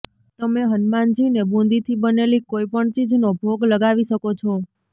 તમે હનુમાનજીને બુંદીથી બનેલી કોઈ પણ ચીજનો ભોગ લગાવી શકો છો